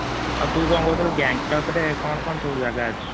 ଆଉ ତୁ କ'ଣ କହୁଥିଲୁ ବ୍ଯାଙ୍କ ଆଉଟ ରେ କ'ଣ କ'ଣ ସବୁ ଜାଗା ଅଛି